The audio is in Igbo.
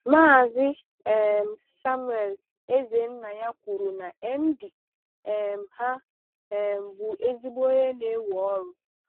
Maazị um Samuel Ezennia kwùrù na MD um ha um bụ ezigbo onye na-ewè ọrụ.